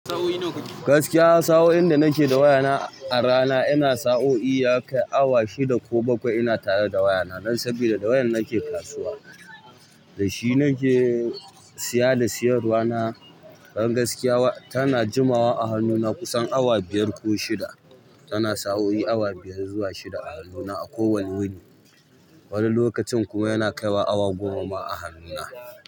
Gaskiya sa'o'in da nake da waya na a rana ina sa'o'i ya kai awa shida ko bakwai ina tare da waya na. Dan sabida da wayan nake kasuwa, dashi nake siya da siyarwa na. Dan gaskiya tana jimawa a hannu na kusan awa biyar ko shida, tana sa'o'i awa biyar zuwa shida a hannu na a kowane wuni. Wani lokacin kuma yana kaiwa awa goma ma a hannu na.